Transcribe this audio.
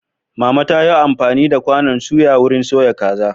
Mama ta yi amfani da kwanan suya wurin soya kaza.